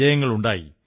വിജയങ്ങളുണ്ടായി